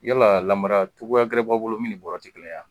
Yala lamara cogoya gɛrɛ b'a bolo min ni bɔrɔ ti kelen ye a?